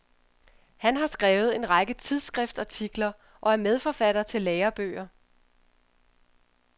Han har skrevet en række tidsskriftartikler og er medforfatter til lærebøger.